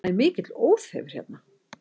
Það er mikill óþefur hérna